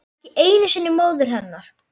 Ekki einu sinni móður hennar.